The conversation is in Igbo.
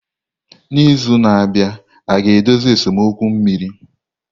N'izu na-abịa aga-edozi esemokwu mmiri?